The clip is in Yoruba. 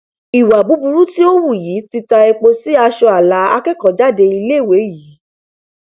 ìwà burúkú tí ó hù yìí ti ta epo sí aṣọ ààlà akẹkọọjáde iléèwé yìí